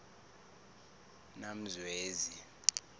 namzwezi